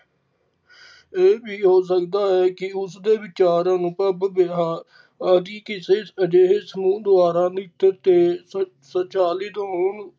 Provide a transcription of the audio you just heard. ਇਹ ਵੀ ਹੋ ਸਕਦਾ ਹੈ ਕਿ ਉਸਦੇ ਵਿਚਾਰ ਅਨੁਭਵ ਆਦਿ ਕਿਸੇ ਅਜਿਹੇ ਸਮੂਹ ਦੁਆਰਾ ਨਿਕਟ ਦੁਆਰਾ ਸੰਚਾਲਿਤ ਹੋਣ